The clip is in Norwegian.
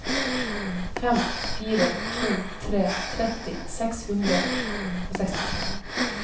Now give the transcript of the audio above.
fem fire to tre tretti seks hundre og sekstitre